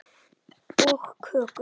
Og kökur.